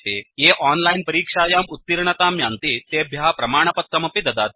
ये ओनलाइन् परीक्षायां उत्तीर्णतां यान्ति तेभ्यः प्रमाणपत्रमपि ददाति